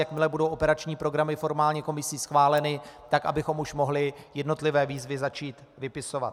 Jakmile budou operační programy formálně komisí schváleny, tak abychom už mohli jednotlivé výzvy začít vypisovat.